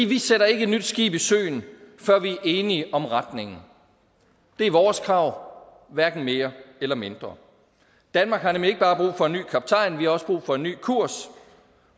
vi sætter ikke et nyt skib i søen før vi er enige om retningen det er vores krav hverken mere eller mindre danmark har nemlig ikke bare brug for en ny kaptajn vi har også brug for en ny kurs